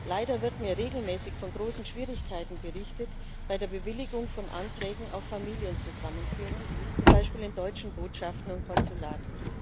Leider wird mir regelmäßig von großen Schwierigkeiten bei der Bewilligung von Anträgen auf Familienzusammenführung berichtet, zum Beispiel in deutschen Botschaften und Konsulaten.